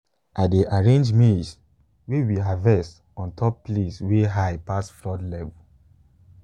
i dey arrange maize way we harvest on top place wey high pass flood level.